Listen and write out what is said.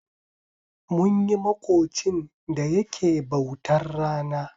Munyi maƙocin da yake bautar rana.